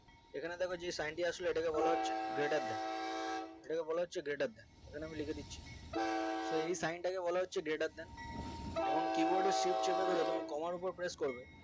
এখানে দেখো যে sign আসলো ওটাকে বলাহচ্ছে greater than এটাকে বলাহচ্ছে greater than এখানে আমি লিখেদিচ্ছি so এই sign তাকে বলাহচ্ছে greater than কেমন keyboard এর shift চেপে ধরে তুমি কমার ওপরে press করবে